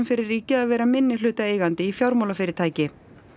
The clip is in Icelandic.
fyrir ríkið að vera minnihlutaeigandi í fjármálafyrirtæki